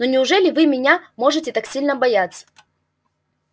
но неужели вы меня можете так сильно бояться